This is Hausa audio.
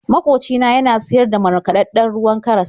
Makoci na yana siyar da markaɗaɗɗen ruwan karas.